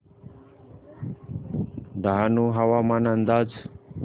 डहाणू हवामान अंदाज